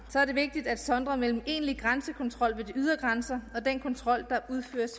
er det vigtigt at sondre mellem egentlig grænsekontrol ved de ydre grænser og den kontrol der udføres